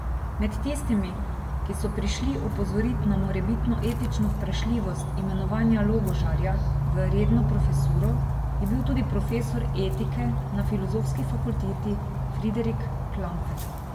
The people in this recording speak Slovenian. Med tistimi, ki so prišli opozorit na morebitno etično vprašljivost imenovanja Logožarja v redno profesuro, je bil tudi profesor etike na filozofski fakulteti Friderik Klampfer.